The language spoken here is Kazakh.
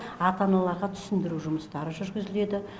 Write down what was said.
ата аналарға түсіндіру жұмыстары жүргізіледі